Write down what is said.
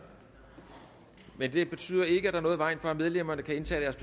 men det betyder ikke at der er noget i vejen for at medlemmerne kan indtage deres